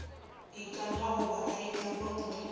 ikana goba go itlama gore